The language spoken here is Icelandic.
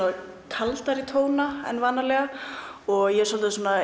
kaldari tóna en vanalega og ég er svolítið